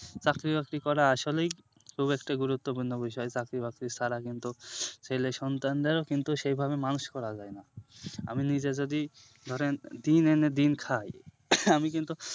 চাকরি বাকরি করা আসলেই খুব একটা গুরুত্বপূর্ন্য বিষয় চাকরি বাকরি ছাড়া কিন্তু ছেলে সন্তানরা কিন্তু সেভাবে মানুষ করা যায় না আমি নিজে যদি ধরেন দিন এনে দিন খাই আমি কিন্তু